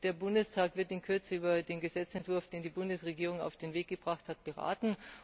Der Bundestag wird in Kürze über den Gesetzentwurf, den die Bundesregierung auf den Weg gebracht hat, beraten.